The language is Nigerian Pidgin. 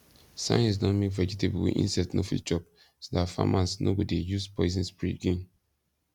science don make vegetable wey insect no fit chop so dat farmers no go dey use poison spray again